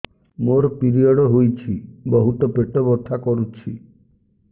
ମୋର ପିରିଅଡ଼ ହୋଇଛି ବହୁତ ପେଟ ବଥା କରୁଛି